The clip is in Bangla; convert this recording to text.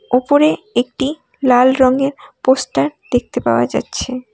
ওপরে একটি লাল রঙের পোস্টার দেখতে পাওয়া যাচ্ছে।